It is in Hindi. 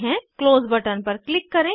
क्लोज बटन पर क्लिक करें